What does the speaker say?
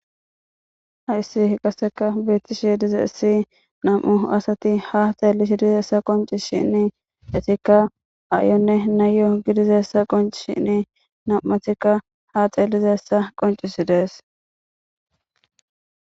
haissi qaseka beettishi dize issi nam7u asati ha xeellishi dizeessa qonci shinni etikka ayonne nayo gidizessa qonci shinni nam7athikka ha xeelizessa qoncisi dees